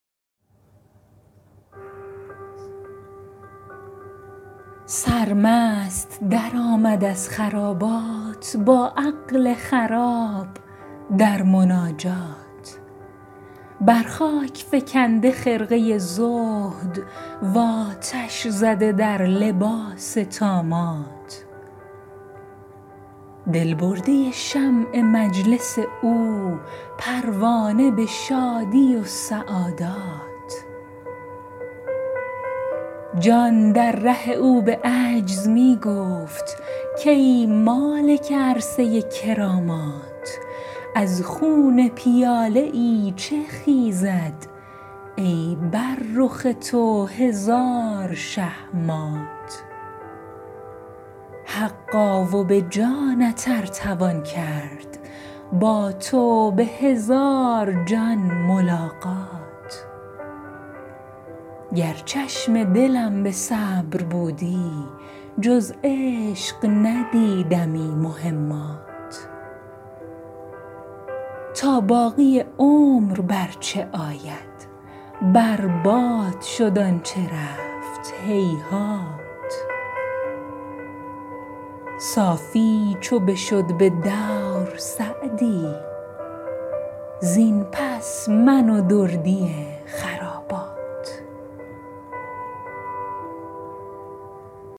سرمست درآمد از خرابات با عقل خراب در مناجات بر خاک فکنده خرقه زهد و آتش زده در لباس طامات دل برده شمع مجلس او پروانه به شادی و سعادات جان در ره او به عجز می گفت کای مالک عرصه کرامات از خون پیاده ای چه خیزد ای بر رخ تو هزار شه مات حقا و به جانت ار توان کرد با تو به هزار جان ملاقات گر چشم دلم به صبر بودی جز عشق ندیدمی مهمات تا باقی عمر بر چه آید بر باد شد آن چه رفت هیهات صافی چو بشد به دور سعدی زین پس من و دردی خرابات